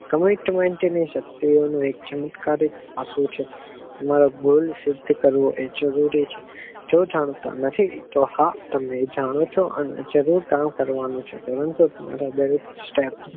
તમારી commentment ની શક્તિઓ નું એક ચમત્કારી આપિઉં છે મારો goal સિદ્ધ કરવો આ જરૂરી છે જો જાણતા નથી તો હા તો તમે જાણો છો અને જરૂરી કામ કરવાનું પરંતુ એક step.